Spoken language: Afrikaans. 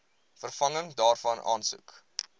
vervanging daarvan aansoek